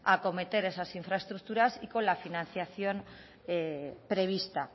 acometer esas infraestructuras y con la financiación prevista